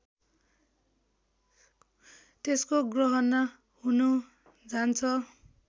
त्यसको गहना हुन जान्छ